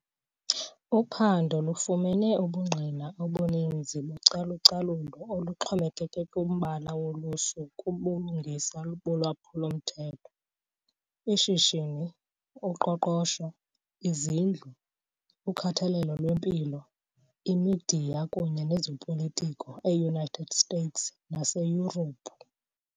Uphando lufumene ubungqina obuninzi bocalucalulo oluxhomekeke kumbala wolusu kubulungisa bolwaphulo-mthetho, ishishini, uqoqosho, izindlu, ukhathalelo lwempilo, imidiya kunye nezopolitiko eUnited States naseYurophu .